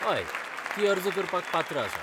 हय, ती अर्ज करपाक पात्र आसा.